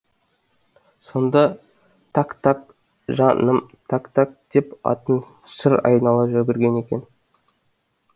сонда так так жа ным так так деп атын шыр айнала жүгірген екен